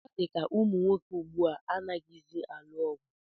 Ọ dịka ụmụnwoke ugbu a anaghịzi alụ ọgụ